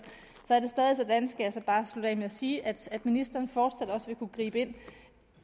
er jeg bare slutte af med at sige at ministeren fortsat også vil kunne gribe ind